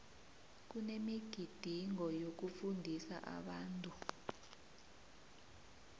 kunemigidingo yokufundisa abantu